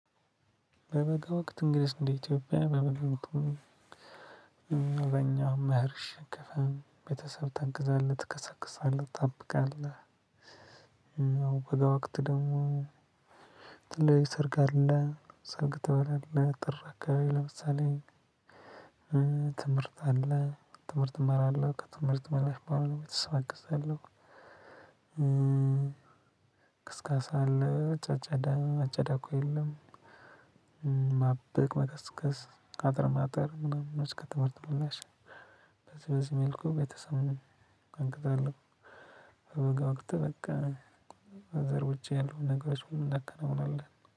በበጋ ወቅት እንግዲህስ እንደ ኢትዮጵያ በምንድነው የምትውለው? በእኛ አሁን መር ሸክፈን ቤተሰብ ታግዛለህ፣ ትከሰክሳለህ፣ ትጠብቃለህ፣ በጋ ወቅት ደግሞ ትልቅ ሰርግ አለ። ሰርግ ትበላለህ ጥር አካባቢ ለምሳሌ፦ ትምህርት አለ ትምህርት እማራለሁ ከትምህርት መልስ በኋላ ሰው አግዛለው። ክስከሳ አለ አጨዳው ከሌለ። ማበቅ መከስከስ አጥር ማጠር ምናምን እስከ ትምህርት ምላሽ። በዚህ በዚህ መልኩ ቤተሰብን አግዛለው። በበጋ ወቅት በዘር ውጪ ያሉትን ነገሮች በሙሉ ነክ ትሆናለህ።